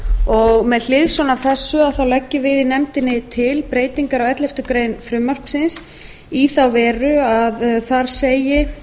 og með hliðsjón af þessu leggjum við í nefndinni til breytingar á elleftu greinar frumvarpsins í þá veru að þar segi